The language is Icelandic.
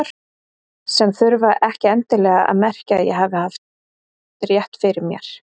Sem þurfti ekki endilega að merkja að ég hefði rétt fyrir mér.